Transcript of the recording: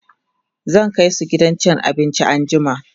zan kaisu gidan cin abinci anjima